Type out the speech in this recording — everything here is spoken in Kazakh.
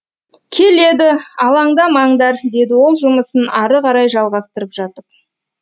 келеді алаңдамаңдар деді ол жұмысын ары қарай жалғастырып жатып